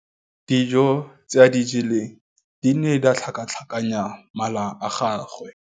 Dijô tse a di jeleng di ne di tlhakatlhakanya mala a gagwe.